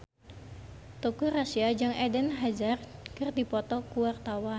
Teuku Rassya jeung Eden Hazard keur dipoto ku wartawan